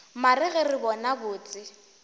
mare ge re bona botse